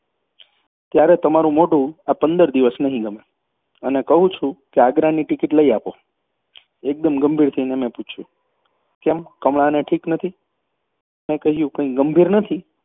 ત્યારે તમારું મોઢું આ પંદર દિવસ નહીં ગમે અને કહું છું આગ્રાની ટિકિટ લઈ આપો એકદમ ગંભીર થઈને પૂછ્યું કેમ કમળાને ઠીક નથી? મેં કહ્યું કંઈ ગંભીર નથી